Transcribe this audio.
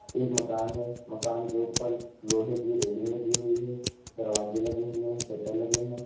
एक मकान है मकान के ऊपर लोगे की रेलिंग लगी हुई है दरवाजे लगे हुए हैं शटर लगे हैं।